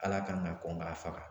Ala kan ka kɔn k'a faga